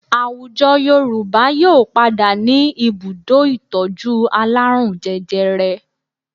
Àwùjọ Yorùbá yóò padà ní ibùdó ìtọ́jú alárùn jẹjẹrẹ